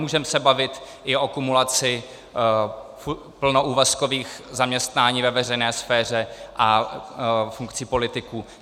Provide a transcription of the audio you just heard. Můžeme se bavit i o kumulaci plnoúvazkových zaměstnání ve veřejné sféře a funkcí politiků.